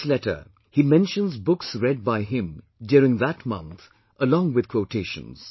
In this letter, he mentions books read by him during that month along with quotations